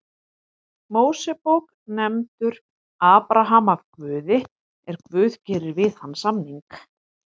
Mósebók nefndur Abraham af Guði er Guð gerir við hann samning: